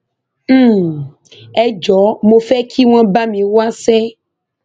um ẹ jọọ mo fẹ kí wọn bá mi wáṣẹ